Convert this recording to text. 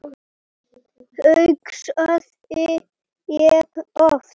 hugsaði ég oft.